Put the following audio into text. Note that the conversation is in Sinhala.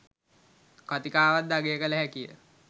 කතිකාවත්ද අගය කළ හැකිය.